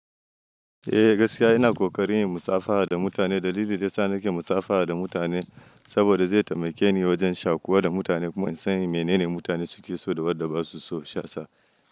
Eh, gaskiya ina kokarin in musafaha da mutane. Dalili dai sa nake musafaha da mutane saboda zai taimake ni wajen shaƙuwa da mutane kuma in san mene ne mutane suke so da wadda ba su so shasa.